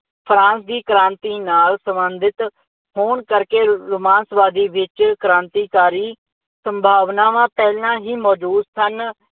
France ਦੀ ਕ੍ਰਾਂਤੀ ਨਾਲ ਸੰਬੰਧਿਤ ਹੋਣ ਕਰਕੇ ਰੁਮਾਂਸਵਾਦੀ ਵਿੱਚ ਕ੍ਰਾਂਤੀਕਾਰੀ ਸੰਭਾਵਨਾਵਾਂ ਪਹਿਲਾਂ ਹੀ ਮੌਜ਼ੂਦ ਸਨ।